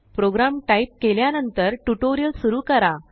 programme type केल्यानंतरटुटोरिअल सुरु करा